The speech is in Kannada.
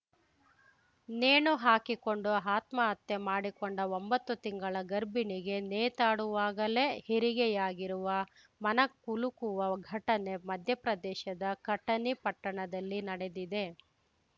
ನೇಣು ಹಾಕಿಕೊಂಡು ಆತ್ಮಹತ್ಯೆ ಮಾಡಿಕೊಂಡ ಒಂಬತ್ತು ತಿಂಗಳ ಗರ್ಭಿಣಿಗೆ ನೇತಾಡುವಾಗಲೇ ಹೆರಿಗೆಯಾಗಿರುವ ಮನಕುಲುಕುವ ಘಟನೆ ಮಧ್ಯಪ್ರದೇಶದ ಕಟನಿ ಪಟ್ಟಣದಲ್ಲಿ ನಡೆದಿದೆ